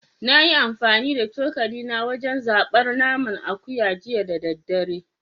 Na yi amfani da cokali wajen zabar naman akuya jiya da daddare